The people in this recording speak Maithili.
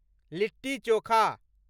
लिट्टी चोखा